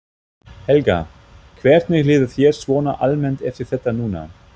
Helga: Hvernig líður þér svona almennt eftir þetta núna?